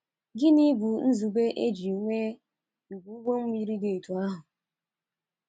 Gịnị bụ nzube e ji nwee ìgwè ụgbọ mmiri dị otú ahụ?